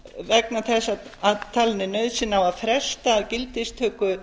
vegna þess að talin er nauðsyn að fresta gildistöku